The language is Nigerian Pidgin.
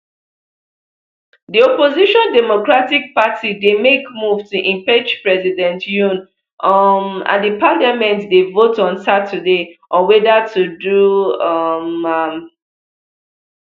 di opposition democratic party dey make move to impeach president yoon um and di parliament dey vote on saturday on whether to do um am